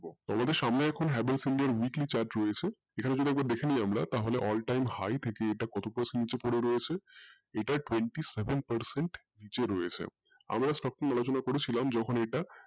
তোমাদের সামনে এখন Havells india এর weekly chart রয়েছে এখানে একবার যদি দেখে নিয়আমরা তাহলে all time high থেকে কত percent নিচে রয়েছে এটা twenty seven percent নিচে রয়েছে আবার আমরা stock নিয়ে আলোচনা করেছিলাম যে